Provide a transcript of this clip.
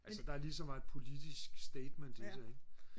altså der er lige så meget et politisk statement i det ikke